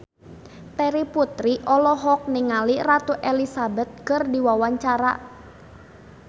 Terry Putri olohok ningali Ratu Elizabeth keur diwawancara